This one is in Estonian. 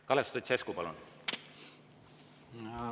Kalev Stoicescu, palun!